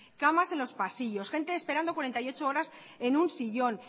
camas en los pasillos gente esperando cuarenta y ocho horas en un sillón